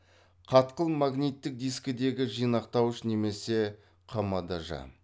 қатқыл магниттік дискідегі жинақтауыш немесе қмдж